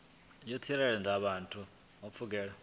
u tsireledza vhathu kha pfudzungule